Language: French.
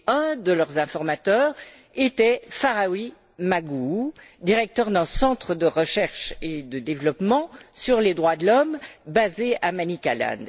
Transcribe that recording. Un de leurs informateurs était Farai Maguwu, directeur d'un centre de recherche et de développement sur les droits de l'homme, basé à Manicaland.